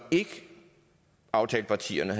aftalepartierne